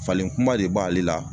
Falen kuma le b'ale la